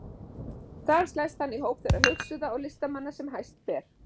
Þar slæst hann í hóp þeirra hugsuða og listamanna sem hæst ber.